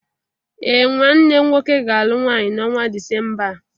Ee, nwanne nwọke ga-alụ nwaanyi na ọnwa dịcemba a